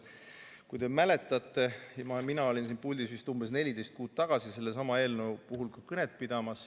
Kui te mäletate, siis mina olin siin puldis vist umbes 14 kuud tagasi sellesama eelnõu kohta kõnet pidamas.